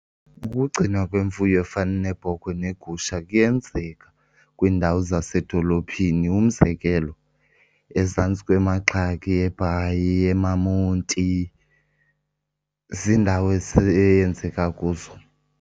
Ukugcinwa kwemfuyo efana neebhokhwe neegusha kuyenzeka kwiindawo zasedolophini. Umzekelo, ezantsi kweMagxaki eBhayi, emaMonti, ziindawo eyenzeka kuzo.